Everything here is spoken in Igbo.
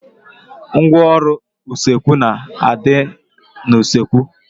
Ngwaọrụ usekwu na a dị n'usekwu